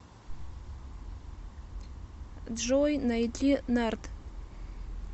джой найди нард